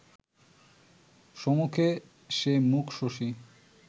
সমুখে সে মুখ-শশী